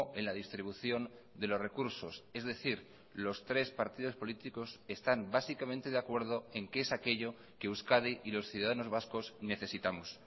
en la distribución de los recursos es decir los tres partidos políticos están básicamente de acuerdo en qué es aquello que euskadi y los ciudadanos vascos necesitamos